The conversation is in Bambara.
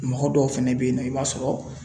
Mɔgɔ dɔw fɛnɛ bɛ yen nɔ i b'a sɔrɔ